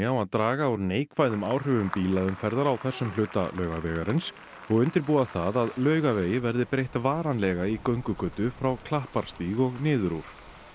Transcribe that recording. á að draga úr neikvæðum áhrifum bílaumferðar á þessum hluta Laugavegarins og undirbúa það að Laugavegi verði breytt varanlega í göngugötu frá Klapparstíg og niður úr